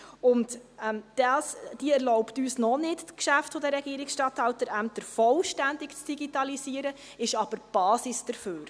Diese erlaubt uns noch nicht, die Geschäfte der Regierungsstatthalterämter vollständig zu digitalisieren, sie ist aber die Basis dafür.